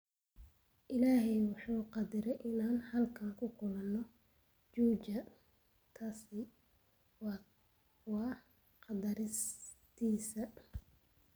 Illahay wuxu qadaraay inaan halkan kuu kulano Juja, taasi waa qadartiisa.